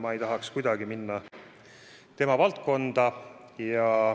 Ma ei tahaks kuidagi minna tema valdkonda.